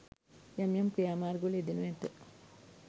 යම් යම් ක්‍රියා මාර්ගවල යෙදෙනු ඇත